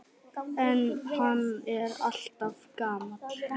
En hann er alltaf gamall.